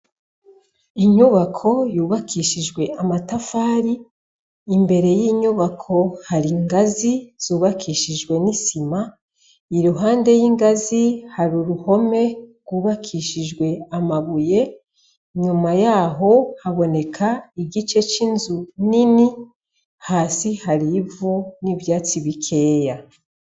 Inyubako yubakishijwe amatafari, imbere y'inyubako hari ingazi zubakishijwe n'isima, iruhande y'ingazi hari uruhome rwubakishijwe amabuye, inyuma yaho haboneka igice c'inzu nini, hasi hari ivu n'ivyatsi bikeya.